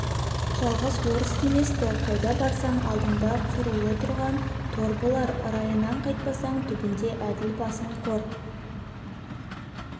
жалғыз орыс емес-ті қайда барсаң алдыңда құрулы тұрған тор болар райыңнан қайтпасаң түбінде әділ басың қор